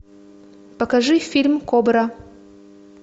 покажи фильм кобра